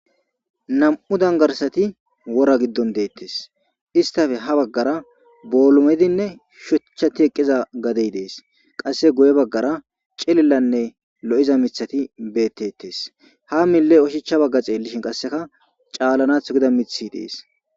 Nam''u danigarisati wora giddonni detees.isitappe haa bagara bolumidinne shuchchati eqiza gadeyi dees.qase guye bagara cililanne lo'iza miththatti betetees.haa milee oshshachcha baga xellishshin qasekka calanaththo Giza miththi dees.